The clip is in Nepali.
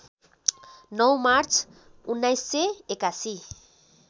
९ मार्च १९८१